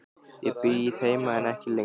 Ég bíð heima en ekki lengi.